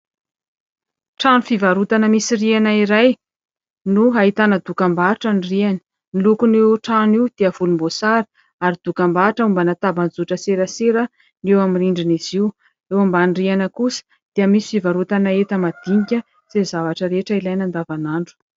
Trano fivarotana misy rihana iray no ahitana dokambarotra ny rihany. Ny lokon'io trano io dia volomboasary ary dokambarotra mombana tambajotran-tserasera no eo amin'ny rindrin'izy io. Eo amin'ny rihana kosa dia misy fivarotana enta-madinika izay zavatra rehetra ilaina andavan'andro.